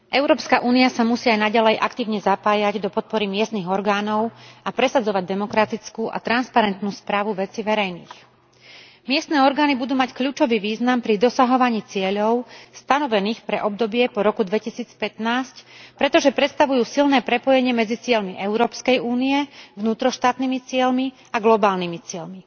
Európska únia sa musí aj naďalej aktívne zapájať do podpory miestnych orgánov a presadzovať demokratickú a transparentnú správu vecí verejných. Miestne orgány budú mať kľúčový význam pri dosahovaní cieľov stanovených pre obdobie po roku 2015, pretože predstavujú silné prepojenie medzi cieľmi Európskej únie, vnútroštátnymi cieľmi a globálnymi cieľmi.